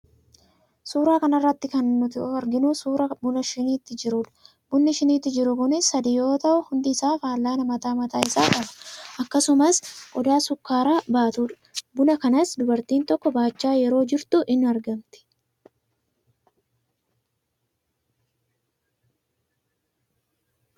Suuraa kana irratti kan nuto arginu suuraa bunaa shiniitti jiruudha. Bunni shiniitti jiru kunis sadii yoo ta'u, hundi isaa fal'aana mataa mataa isaa qaba. Akkasumas, qodaa sukkaara baatudha. Buna kanas dubartiin tokko baachaa yeroo jirtu in argamti.